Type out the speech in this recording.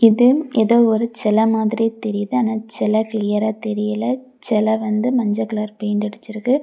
இது ஏதோ ஒரு சில மாதிரி தெரியுது ஆனா அந்த சிலை கிளியரா தெரியல சில வந்து மஞ்ச கலர் பெயிண்ட் அடிச்சிருக்கு.